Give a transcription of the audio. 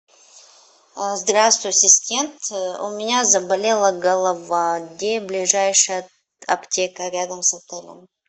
здравствуй ассистент у меня заболела голова где ближайшая аптека рядом с отелем